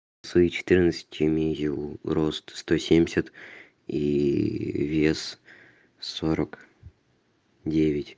свои четырнадцать имею рост сто семьдесят и вес сорок девять